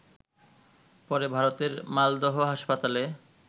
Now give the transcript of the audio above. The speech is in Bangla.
পরে ভারতের মালদহ হাসপাতালে